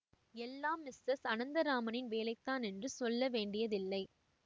எல்லாம் மிஸ்ஸஸ் அனந்தராமனின் வேலைதான் என்று சொல்ல வேண்டியதில்லை